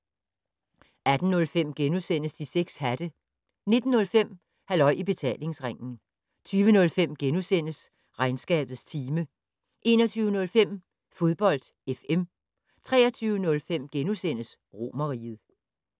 18:05: De 6 hatte * 19:05: Halløj I Betalingsringen 20:05: Regnskabets time * 21:05: Fodbold FM 23:05: Romerriget *